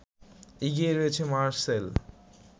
এগিয়ে রয়েছে মারসেল